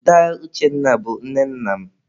Daa Uchenna bụ nne nna m.